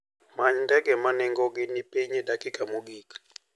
Many ndege ma nengogi ni piny e dakika mogik.